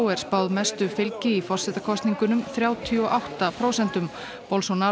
er spáð mestu fylgi í forsetakosningunum þrjátíu og átta prósentum